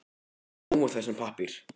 Við eigum nóg af þessum pappír.